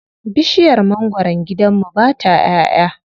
Bishiyar mangwaron gidan mu ba ta ƴaʼƴa.